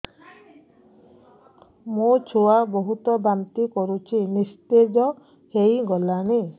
ମୋ ଛୁଆ ବହୁତ୍ ବାନ୍ତି କରୁଛି ନିସ୍ତେଜ ହେଇ ଗଲାନି